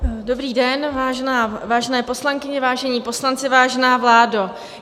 Dobrý den, vážené poslankyně, vážení poslanci, vážená vládo.